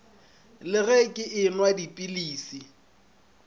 le ge ke enwa dipilisi